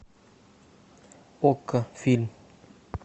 окко фильм